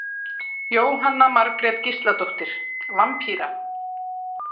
Jóhanna Margrét Gísladóttir: Vampíra?